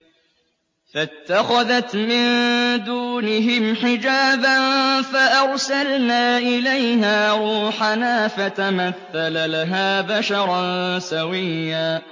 فَاتَّخَذَتْ مِن دُونِهِمْ حِجَابًا فَأَرْسَلْنَا إِلَيْهَا رُوحَنَا فَتَمَثَّلَ لَهَا بَشَرًا سَوِيًّا